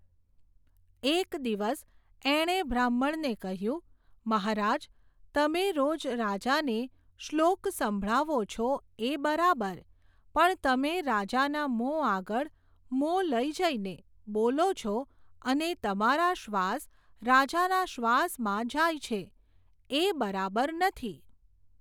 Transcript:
એક દિવસ એણે બ્રાહ્મણને કહ્યું, મહારાજ, તમે રોજ રાજાને શ્લોક સંભળાવો છો એ બરાબર, પણ તમે રાજાના મોં આગળ મોં લઈ જઈને, બોલો છો અને તમારા શ્વાસ રાજાના શ્વાસમાં જાય છે, એ બરાબર નથી.